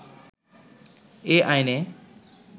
এ আইনে